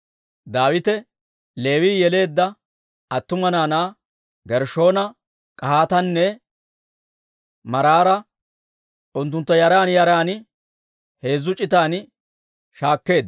Daawite Leewii yeleedda attuma naanaa Gershshoona, K'ahaatanne Maraara unttuntta yaran yaran heezzu c'itan shaakkeedda.